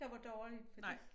Der var dårligt for det